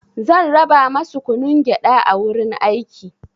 Zan raba masu kunun gyaɗa a wurin aiki.